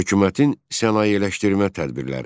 Hökumətin sənayeləşdirmə tədbirləri.